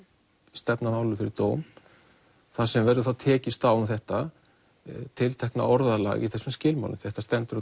stefna málinu fyrir dóm þar sem verður þá tekist á um þetta tiltekna orðalag í þessum skilmálum því þetta stendur